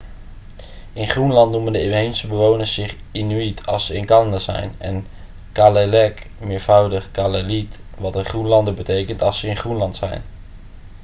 in groenland noemen de inheemse bewoners zich inuit als ze in canada zijn en kalaalleq meervoud kalaallit wat een groenlander betekent als ze in groenland zijn